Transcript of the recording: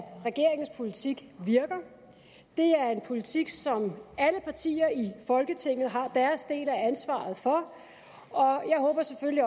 regeringens politik virker det er en politik som alle partier i folketinget har deres del af ansvaret for og jeg håber selvfølgelig